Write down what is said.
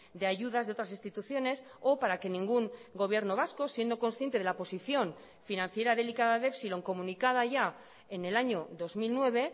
de ayudas de otras instituciones o para que ningún gobierno vasco siendo consciente de la posición financiera delicada de epsilon comunicada ya en el año dos mil nueve